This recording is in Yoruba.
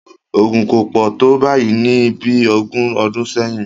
Ogun kò pò tó báyìí ní bí ogún ọdún sẹ́yìn